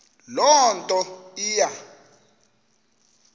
loo nto iya